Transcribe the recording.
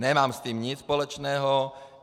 Nemám s tím nic společného.